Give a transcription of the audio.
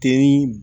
Den